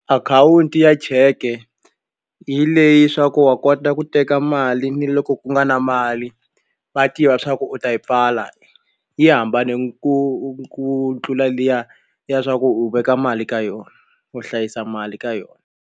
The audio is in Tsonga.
Akhawunti ya cheke hi leyi swa ku wa kota ku teka mali ni loko ku nga na mali va tiva leswaku u ta yi pfala yi hambane ku ku tlula liya ya swa ku u veka mali ka yona u hlayisa mali ka yona.